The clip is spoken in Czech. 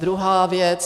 Druhá věc.